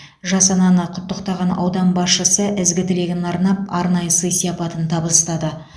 жас ананы құттықтаған аудан басшысы ізгі тілегін арнап арнайы сый сияпатын табыстады